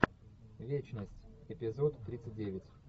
вечность эпизод тридцать девять